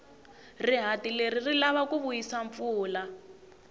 rihati leri ri lava ku vuyisa mpfula